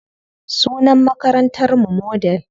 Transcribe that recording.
Sunan makarantar mu Model.